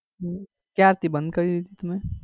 હમ ક્યારે થી બંધ કરી દીધું તમે?